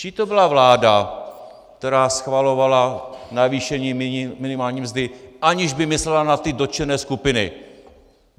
Čí to byla vláda, která schvalovala navýšení minimální mzdy, aniž by myslela na ty dotčené skupiny?